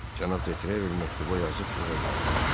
Cənab Detrevel məktubu yazıb möhürlədi.